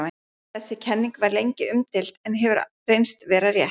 Þessi kenning var lengi umdeild en hefur reynst vera rétt.